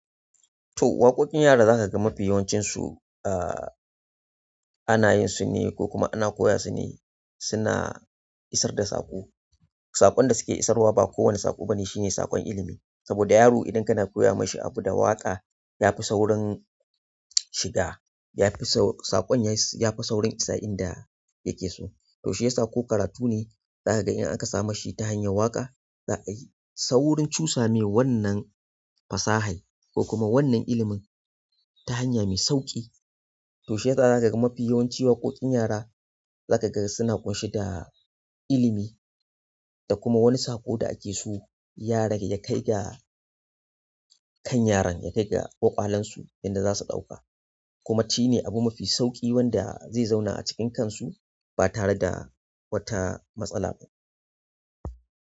To waƙoƙin yara za ka ga mafi yawancinsu, a, ana yin su ne ko kuma ana koya su ne suna isar da saƙo. Saƙon da suke isarwa ba kowane saƙo ba ne, shine saƙon ilimi. Saboda yaro idan kana koya mashi abu da waƙa ya fi saurin shiga, ya fi saƙon ya fi saurin isa inda yake so. To shiyasa ko karatu ne zaka ga in aka same shi ta hanyar waƙa, za a yi. Ta wurin cusa mai wannan fasahar ko kuma wannan ilimin ta hanya mai sauƙi. To shiyasa za ka ga mafi yawanci waƙoƙin yara za ka ga suna ƙunshe da ilimi da kuma wani saƙo da ake so yaron ya kai ga. Kan yaron ya kai ga ƙwaƙwalansu inda za su ɗauka. Kuma shi ne abu mafi sauƙi wanda zai zauna a cikin kansu ba tare da wata matsala ba.